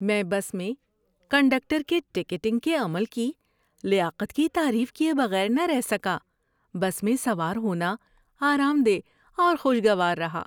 ‏میں بس میں کنڈکٹر کے ٹکٹنگ کے عمل کی لیاقت کی تعریف کیے بغیر نہ رہ سکا۔ بس میں سوار ہونا آرام دہ اور خوشگوار رہا۔